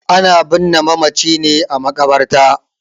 Ana binne mamaci ne a maƙabarta.